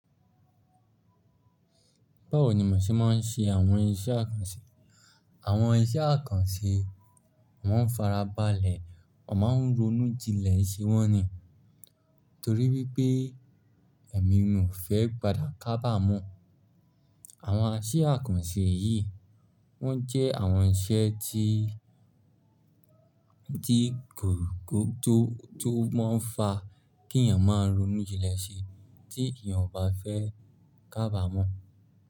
Báwo ni mo ṣe máa ń ṣe àwọn iṣẹ́ àkànṣe? Àwọn iṣẹ́ àkànṣe, mọ́ n farabalẹ̀, mó máa ń ronú jinlẹ̀ ṣe wọ́n ni. Nítorí wípé èmi ò fẹ́ padà kábà mọ́. Àwọn iṣẹ́ àkànṣe yìí wọ́n jẹ́ àwọn iṣẹ́ tí, tí ko ko o tó, tó máa ń fa kí èèyàn máa ronú jinlẹ̀ ṣe tí èèyàn ò bá fẹ́ k'ábàmọ́